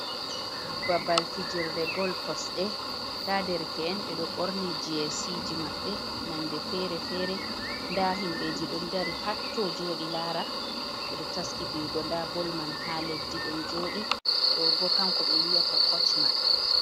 Babal fijirle bol kosɗe, nda derke’en ɓe ɗo ɓorni jesii maɓɓe nonde fere-fere, nda himɓeji ɗon dari hatto, jooɗi laara, ɓe ɗo taski fiyugo nda bol man ha leddi ɗon jooɗi, ɗo bo kanko ɓe wi'ata koch maɓɓe.